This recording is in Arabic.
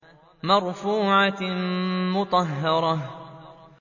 مَّرْفُوعَةٍ مُّطَهَّرَةٍ